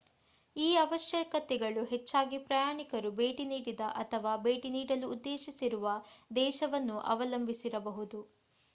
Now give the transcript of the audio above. ಈ ಅವಶ್ಯಕತೆಗಳು ಹೆಚ್ಚಾಗಿ ಪ್ರಯಾಣಿಕರು ಭೇಟಿ ನೀಡಿದ ಅಥವಾ ಭೇಟಿ ನೀಡಲು ಉದ್ದೇಶಿಸಿರುವ ದೇಶವನ್ನು ಅವಲಂಬಿಸಿರಬಹುದು